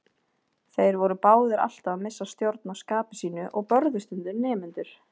Þeir voru báðir alltaf að missa stjórn á skapi sínu og börðu stundum nemendur.